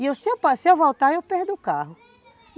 E se eu voltar eu perco o carro.